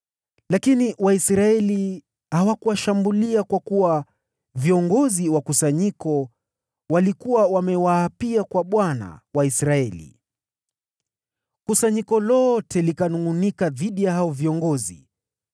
Lakini Waisraeli hawakuwashambulia kwa kuwa viongozi wa kusanyiko walikuwa wamewaapia kwa Bwana , Mungu wa Israeli. Kusanyiko lote likanungʼunika dhidi ya hao viongozi,